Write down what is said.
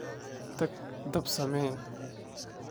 Tag dab samee.